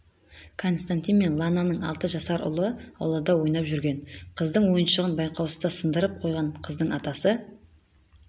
константин мен лананың алты жасар ұлы аулада ойнап жүрген қыздың ойыншығын байқаусызда сындырып қойған қыздың атасы